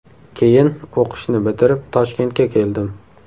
Keyin o‘qishni bitirib Toshkentga keldim.